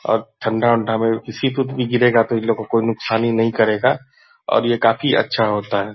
अब ठंडा ऊंढ़ा में किसी पे भी गिरेगा तो इनलोगों को नुक्सान नहीं करेगा और ये काफी अच्छा होता है।